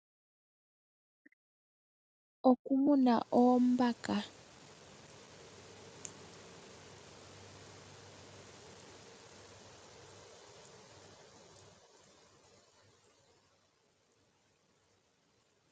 Okumuna oombaka. Oombaka ohadhi munwa dhili pehala limwe moka hadhi pewelwapo iikulya nomeya opo dhikale dhamona sha shokulya.